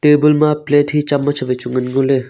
table ma plate hi chamach wai chu ngan le ngole.